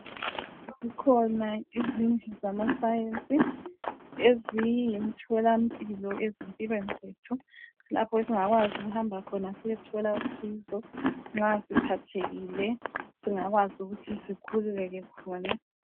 Zikhona izindlu zama science eziyimthola mpilo ezimpilweni zethu. Lapho esingakwazi ukuhamba khona siyethola usizo, nxa siphathekile singakwazi ukuthi sikhululeke khona.